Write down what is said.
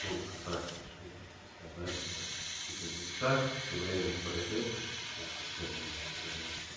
только так решили сказали вот пусть будет так время пройдёт и все как бы на место вернут